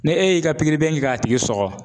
Ne e y'i ka kɛ k'a tigi sɔgɔ.